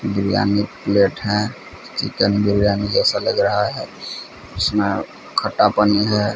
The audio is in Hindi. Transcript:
बिरयानी प्लेट है चिकन बिरयानी जैसा लग रहा है इसमें खट्टापन ही है।